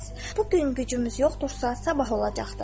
Bu gün gücümüz yoxdursa, sabah olacaqdır.